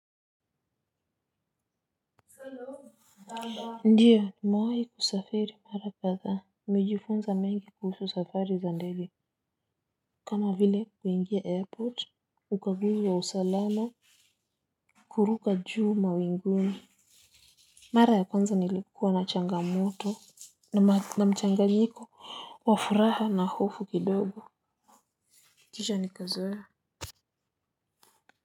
Ndiyo nimewai kusafiri mara kadhaa. Nimejifunza mengi kuhusu safari za ndege. Kama vile kuingia airport. Ukaguzi wa usalama. Kuruka juu mawinguni. Mara ya kwanza nilikuwa na changamoto na mchanganyiko wa furaha na hofu kidogo kisha nikazoea.